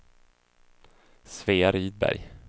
Svea Rydberg